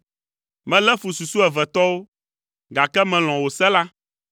Melé fu susuevetɔwo, gake melɔ̃ wò se la.